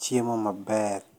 chiemo maber.